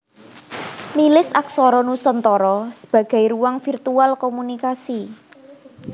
Milis aksara nusantara sebagai ruang virtual komunikasi